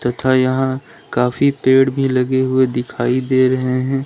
तथा यहां काफी पेड़ भी लगे हुए दिखाई दे रहे हैं।